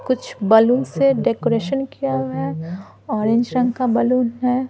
कुछ बालून से डेकोरेशन किया हुआ है ऑरेंज रंग बालून है।